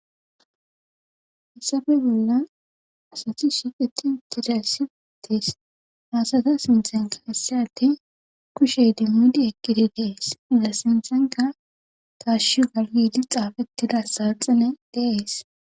Hissafe bolla asathi shiiqeti tidasiitis maasata sinthen keessyate kushey dimmidi eqqidi dees da sinthanka taashu galgidi xaafettida saaxine dees.